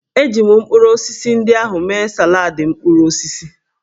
Eji m mkpụrụ osisi ndị ahụ mee saladị mkpụrụ osisi